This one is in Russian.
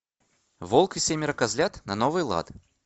волк и семеро козлят на новый лад